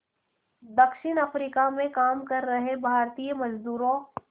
दक्षिण अफ्रीका में काम कर रहे भारतीय मज़दूरों